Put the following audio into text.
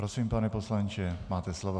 Prosím, pane poslanče, máte slovo.